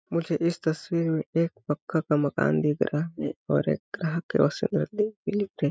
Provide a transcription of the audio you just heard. मुझे इस तस्वीर में एक पक्का का मकान दिख रहा है और एक